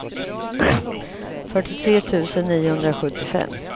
fyrtiotre tusen niohundrasjuttiofem